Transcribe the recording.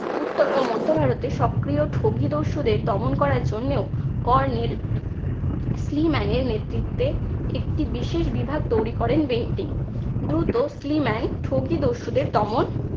উত্তর ও মধ্য ভারতে সক্রিয় ঠগী দস্যুদের দমন করার জন্যেও colonel ক্লিম্যান এর নেতৃত্বে একটি বিশেষ বিভাগ তৈরি করেন বেন্টিং। দ্রুত ক্লিম্যান ঠগী দস্যুদের দমন